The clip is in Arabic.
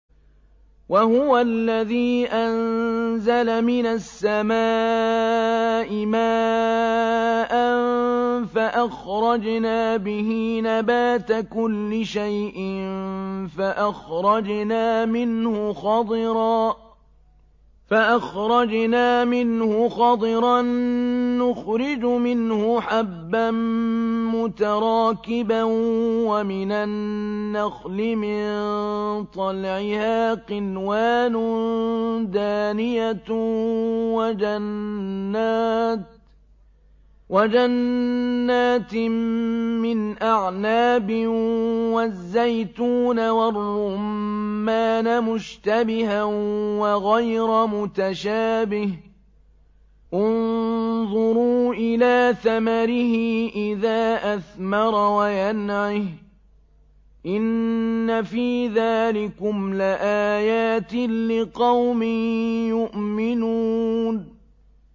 وَهُوَ الَّذِي أَنزَلَ مِنَ السَّمَاءِ مَاءً فَأَخْرَجْنَا بِهِ نَبَاتَ كُلِّ شَيْءٍ فَأَخْرَجْنَا مِنْهُ خَضِرًا نُّخْرِجُ مِنْهُ حَبًّا مُّتَرَاكِبًا وَمِنَ النَّخْلِ مِن طَلْعِهَا قِنْوَانٌ دَانِيَةٌ وَجَنَّاتٍ مِّنْ أَعْنَابٍ وَالزَّيْتُونَ وَالرُّمَّانَ مُشْتَبِهًا وَغَيْرَ مُتَشَابِهٍ ۗ انظُرُوا إِلَىٰ ثَمَرِهِ إِذَا أَثْمَرَ وَيَنْعِهِ ۚ إِنَّ فِي ذَٰلِكُمْ لَآيَاتٍ لِّقَوْمٍ يُؤْمِنُونَ